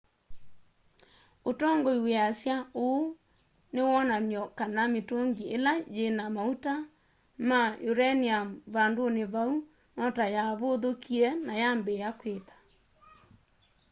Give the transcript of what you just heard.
ũtongoi wĩasya ũũ nĩ wonany'o kana mĩtũngĩ ĩla yĩna maũta ma ũranĩũm vandũnĩ vau notayavũthũkie na yambĩĩa kwita